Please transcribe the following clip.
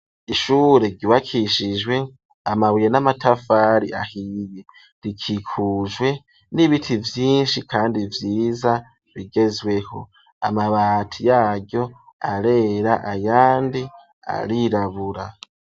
Ishure ryubakishijwe amabuye n'amatafari ahiye rikikujwe n'ibiti vyinshi kandi vyiza bigezweho, amabati yaryo arera ayandi arirabura.